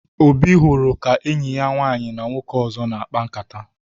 Obi hụrụ ka enyi ya nwaanyị na nwoke ọzọ na-akpa nkata